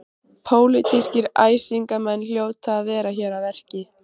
Pólitískir æsingamenn hljóta að vera hér að verki.